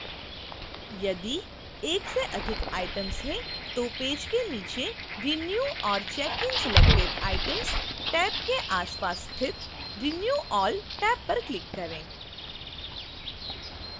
यदि एक से अधिक item हैं तो पेज के नीचे renew or check in selected items tab के आसपास स्थित renew all टैब पर click करें